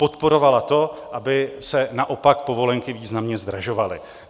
Podporovala to, aby se naopak povolenky významně zdražovaly.